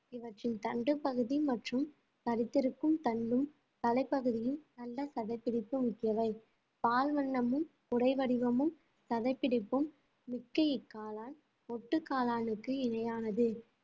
இவற்றின் தண்டுப்பகுதி மற்றும் தடித்திருக்கும் தண்டும் தலைப்பகுதியும் நல்ல சதைப்பிடிப்பு முக்கியவை பால் வண்ணமும் குடை வடிவமும் சதைப்பிடிப்பும் மிக்க இக்காளான் மொட்டு காளானுக்கு இணையானது